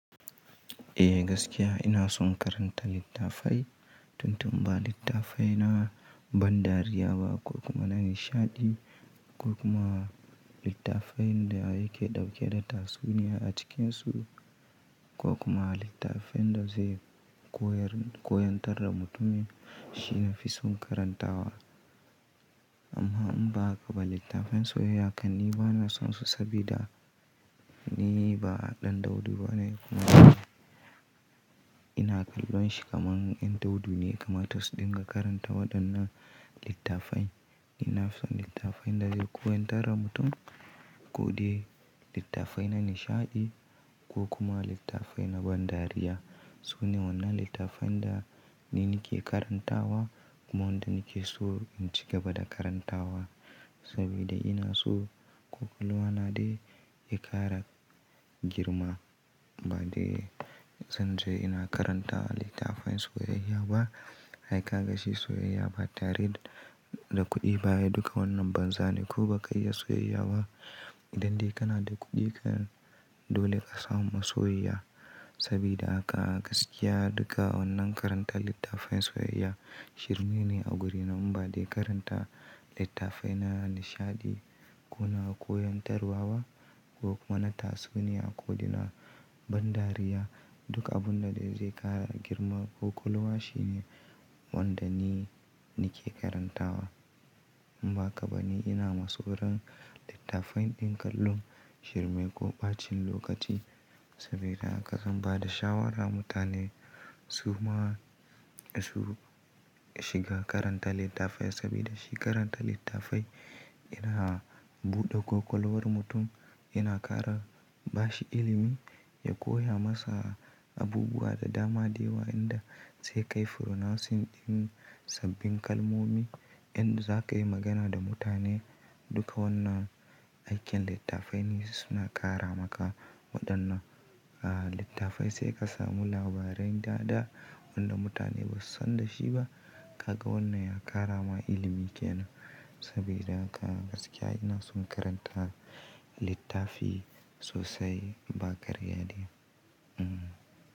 Eh gaskiya ina son karanta littafai, tun tun ɓa littafai na ban dariya ba ko kuma na nishaɗi ko kuma littafai da yake ɗauke da tatsuniya a cikinsu ko kuma littafai da zai koyar-koyantar da mutumin shi nafi son karantawa. Amma in ba hakaɓa littafai soyayya kam, ni bana son su sabida ni ba ɗan daudu bane kuma ina ƙallon shi kaman yan daudu ne yakama ta su dinga karanta waɗannan littafai. Ina son littafai da zai koyantar da mutum ko dai littafai na nishaɗi ko kuma littafai na ban dariya. So ne wanna littafai da ni nake karantawa kuma wanda nake so in cigaba da karantawa sabida ina so ƙwakwalwa na dai ya ƙara girma ba dai zan je ina karanta littafai soyayya ba. Ai ka ga shi soyayya ba tare da kuɗi ba, duka wannan banza ne. Ko baka iya soyayya ba idan dai kana da kuɗi dole ka samu masoyiya sabida haka gaskiya duka wannan karanta littafai soyayya shirme ne a guri na. Ba dai karanta littafai na nishaɗi ko na koyantarwa waba ko kuma na tatsuniya ko dai na ban dariya duka abunda dai zai ƙara girma kwakwalwa shine wanda ni nake karantawa. In ba haka ɓa ni ina ma sauran littafai ɗin ƙallon shirme ko ɓacin lokaci sabida haka zan ba da shawara mutane su ma su shiga karanta littafai sabida shi karanta littafai yana buɗe kwakwalwar mutum, yana ƙara bashi ilimi, ya koya masa abubuwa da dama da yawa waɗanda sai kai pronouncing ɗin sabbin kalmomi yanda za ka yi magana da mutane. Duka wannan aikin littafai ne suna ƙara maka waɗannan littafai sai ka samu labaran daɗa wanda mutane ba su san da shi ba. Ka ga wannan ya ƙara ma ilimi ke nan sabida haka gaskiya ina son karanta littafi sosai ba ƙarya dai. Hmm.